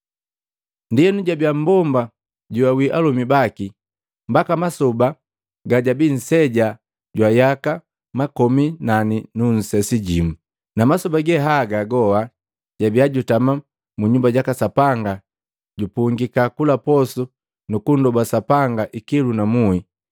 Ndienu jabia mmbomba joawi alomi baki mbaka masoba gajabi nseja jwa yaka makomi nane nu nsesi jimu. Na masoba ge haga goa jabia jutama mu Nyumba jaka Sapanga jupungika kula posu nukunndoba Sapanga ikilu na muhi.